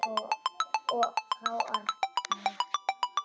Frá Arnari?